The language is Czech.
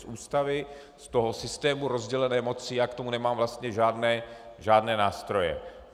Z Ústavy, z toho systému rozdělené moci já k tomu nemám vlastně žádné nástroje.